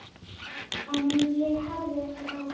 En ég hafði ekki áhuga.